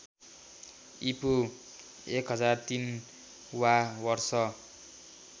ईपू १००३ वा वर्ष